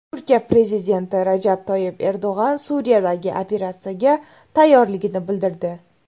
Turkiya prezidenti Rajab Toyyib Erdo‘g‘on Suriyadagi operatsiyaga tayyorligini bildirdi.